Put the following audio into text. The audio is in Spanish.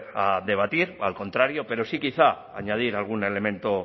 a debatir o al contrario pero sí quizá añadir algún elemento